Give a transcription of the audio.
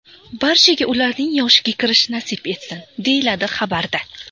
Barchaga ularning yoshiga kirish nasib etsin!”, deyiladi xabarda.